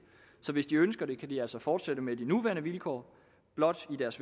så hvis de ønsker det kan de altså fortsætte med de nuværende vilkår blot i deres